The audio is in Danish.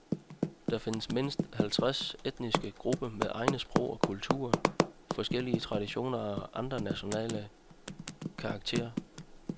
Der findes mindst halvtreds etniske grupper med egne sprog og kulturer, forskellige traditioner og andre nationale karakteristika.